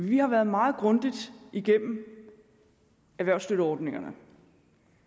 vi har været meget grundigt igennem erhvervsstøtteordningerne